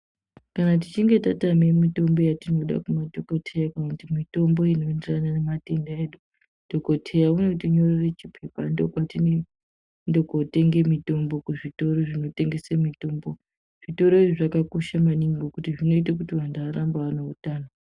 Kana tichinge tatame mitombo yatinoda kumadhokodheya kana kuti mitombo inoenderana nematenda edu dhokodheya unotinyorere chipepa ndokwaninoenda kotenga mitombo kuzvitoro zvinotengese mitombo, zvitoro izvi zvakakosha maningi ngekuti zvinoite kuti anhu arambe ane utano.